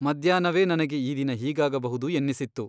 ಮಧ್ಯಾಹ್ನವೇ ನನಗೆ ಈ ದಿನ ಹೀಗಾಗಬಹುದು ಎನ್ನಿಸಿತ್ತು.